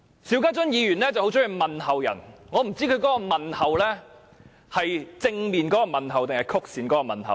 邵家臻議員很喜歡問候別人，我不知道他是正面的問候或是曲線的問候。